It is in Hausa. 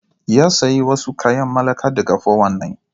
Ya sayi wasu kayan mallaka daga 419.